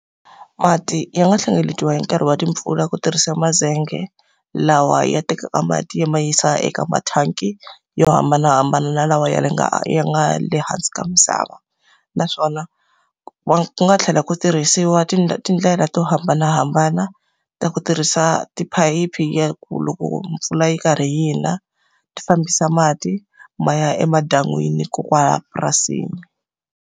Mati ya nga hlengeletiwa hi nkarhi wa timpfula ku tirhisa mazenge lawa ya tekaka mati ya ma yisa eka mathanki yo hambanahambana, na lawa ya le nga ya nga le hansi ka misava. Naswona ku nga tlhela ku tirhisiwa tindlela to hambanahambana ta ku tirhisa tiphayiphi ya ku loko mpfula yi karhi yi na, ti fambisa mati ma ya emadan'wini kona kwalahaya purasini.